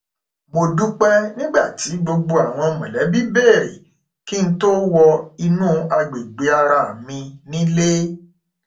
mo dúpẹ nígbà tí gbogbo àwọn mọlẹbí bèrè kí n tó wọ inú agbègbè ara mi nílé